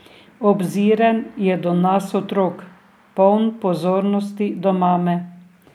Obziren je do nas otrok, poln pozornosti do mame.